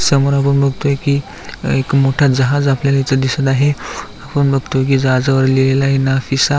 समोर आपण बघतोय की एक मोठा जहाज आपल्याला इथ दिसत आहे आपण बघतोय की जहाजावर लिहिलेल आहे नाफिसा.